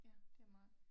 Ja det er meget